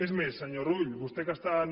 és més senyor rull vostès que estan